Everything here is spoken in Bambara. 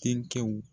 Denkɛw